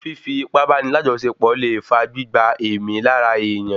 Fífi ipá báni lajọsepọ le fa gbígba èémí lára èèyàn